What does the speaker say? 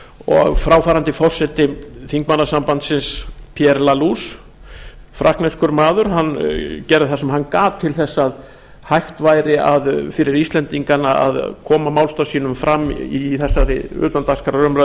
og fráfarandi forseti þingmannasambandsins pierre laluse frakkneskur maður hann gerði það sem hann gat til þess að hægt væri fyrir íslendingana að koma málstað sínum fram í þessari utandagskrárumræðu